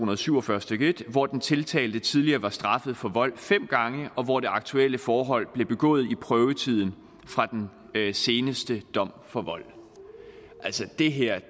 og syv og fyrre stykke en hvor den tiltalte tidligere var straffet for vold fem gange og hvor det aktuelle forhold blev begået i prøvetiden fra den seneste dom for vold altså det her